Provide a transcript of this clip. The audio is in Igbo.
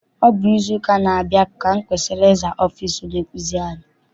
Ọ bụ n'izu ụka na-abia ka m kwesịrị ịza ọfịịsi onye nkụzi anyị.